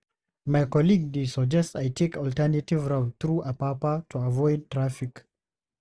My colleague dey suggest I take alternative route through Apapa to avoid traffic.